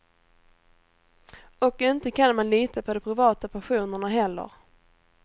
Och inte kan man lita på de privata passionerna heller.